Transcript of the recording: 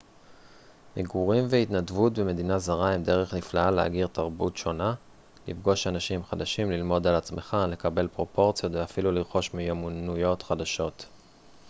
מגורים והתנדבות במדינה זרה הם דרך נפלאה להכיר תרבות שונה לפגוש אנשים חדשים ללמוד על עצמך לקבל פרופורציות ואפילו לרכוש מיומנויות חדשות